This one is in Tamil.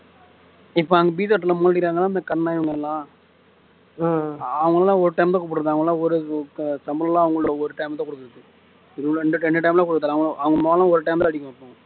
இப்போ அந்த இந்த கண்ணன் இவங்க எல்லாம் அவங்க எல்லாம் ஒரு time தான் கூப்பிடுறது அவங்க எல்லாம் ஒரு சம்பளம் எல்லாம் ஒரு time தான் கொடுக்கிறது ரெண்டு time ரெண்டு time எல்லாம் கொடுக்கிறது இல்ல அவங்க மோளம் ஒரு time தான் அடிக்கும்